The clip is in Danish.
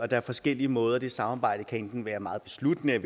der er forskellige måder at det samarbejde kan være meget besluttende